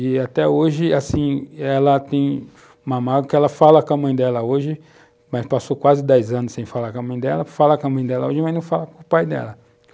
E até hoje, assim, ela tem que ela fala com a mãe dela hoje, mas passou quase dez anos sem falar com a mãe dela, fala com a mãe dela hoje, mas não fala com o pai dela.